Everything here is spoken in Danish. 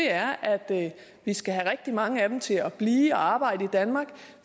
er at vi skal have rigtig mange af dem til at blive og arbejde i danmark